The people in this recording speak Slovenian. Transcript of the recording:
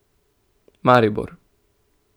Maribor.